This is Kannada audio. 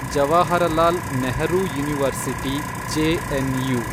Jawaharlal Nehru university, JNU